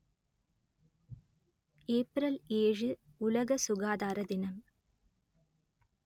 April ஏழு உலக சுகாதார தினம்